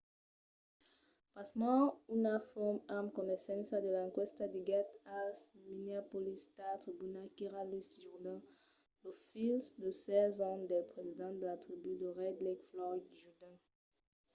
pasmens una font amb coneissença de l'enquèsta diguèt al minneapolis star-tribuna qu'èra louis jourdain lo filh de 16 ans del president de la tribú de red lake floyd jourdain